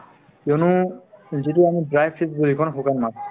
কিয়নো যিটো আমি dry fish বুলি কওঁ শুকান মাছ